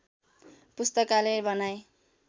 पुस्तकालय बनाए